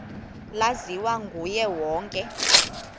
laziwa nguye wonke